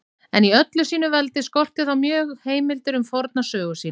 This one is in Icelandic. En í öllu sínu veldi skorti þá mjög heimildir um forna sögu sína.